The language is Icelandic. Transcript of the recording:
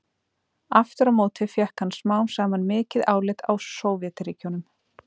aftur á móti fékk hann smám saman mikið álit á sovétríkjunum